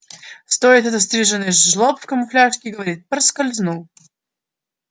стоит этот стриженый жлоб в камуфляже и говорит проскользнул